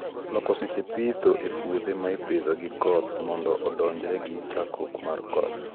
loko seche pitho e puothe maipithe gi koth mondo odonjre gi chakruok mar koth